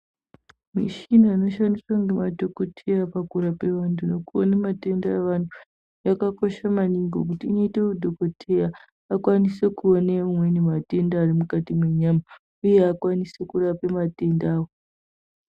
Muchina inoshandiswa ngemadhokodheya pakurapa vantu nekuona matenda vantu yakakosha maningi ngekuti inoite kuti dhokodheya akwanise kuone matenda arimukati mwenyama uye akwanise kurape matendawo.